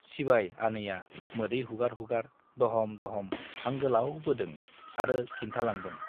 सिबाय आनैया मोदै हुगार हुगार दह'म दह'म हां गोलाव बोदों आरो खिन्थालांदों ।